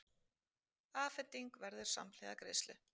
Afhending verður samhliða greiðslu